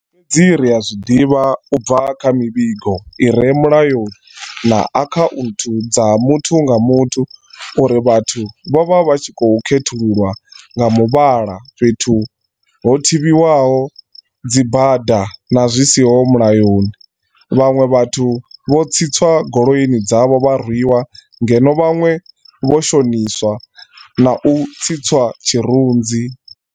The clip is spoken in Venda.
Fhedzi ri a zwi ḓivha u bva kha mivhigo i re mulayoni na akhaunthu dza muthu nga muthu uri vhathu vho vha vha tshi khou khethululwa nga muvhala fhethu ho thivhiwaho dzibada zwi siho mulayoni, vhaṅwe vhathu vho tsitswa goloini dzavho vha rwiwa, ngeno vhaṅwe vho shoniswa na u tsitswa tshirunzi.